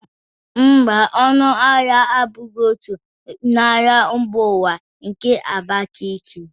Mba, ọnụ ahịa abụghị otu n'ahịa mba ụwa nke Abakiliki